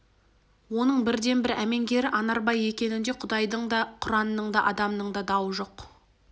оның бірден-бір әмеңгері анарбай екенінде құдайдың да құранның да адамның да дауы жоқ